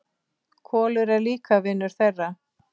Kolur er líka vinur þeirra.